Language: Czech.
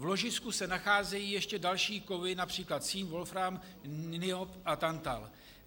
V ložisku se nacházejí ještě další kovy, například cín, wolfram, niob a tantal.